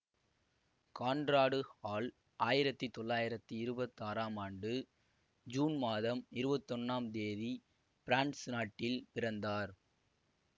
Conrad Hall ஆயிரத்தி தொள்ளாயிரத்தி இருபத்தி ஆறாம் ஆண்டு ஜூன் மாதம் இருவத்தி ஒன்னாம் தேதி பிரான்சு நாட்டில் பிறந்தார்